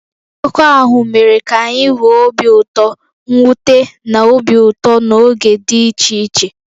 Akụkọ ahụ mere ka anyị nwee obi ụtọ, mwute, na obi ụtọ n'oge dị iche iche.